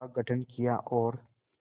का गठन किया और